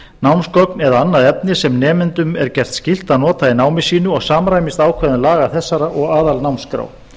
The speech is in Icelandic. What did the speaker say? námsgögn eða annað efni sem nemendum er gert skylt að nota í námi sínu og samrýmist ákvæðum laga þessara og aðalnámskrá